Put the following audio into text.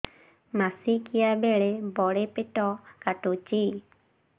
ମାସିକିଆ ବେଳେ ବଡେ ପେଟ କାଟୁଚି